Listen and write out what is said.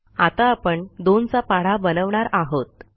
आता आपण2 चा पाढा बनवणार आहोत